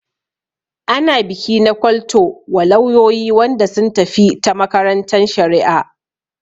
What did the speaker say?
Ana biki na kwal to wa lauyoyi Wanda sun tafi ta makarantan shari'a.